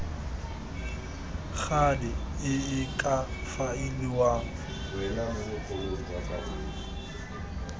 gale e e ka faeliwang